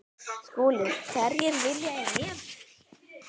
SKÚLI: Hverjir vilja í nefið.